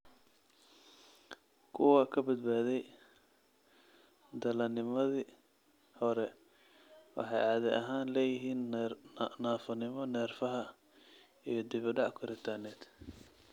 Kuwa ka badbaaday dhallaannimadii hore waxay caadi ahaan leeyihiin naafonimo neerfaha iyo dib u dhac koritaaneed.